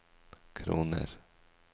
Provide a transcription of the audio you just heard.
kroner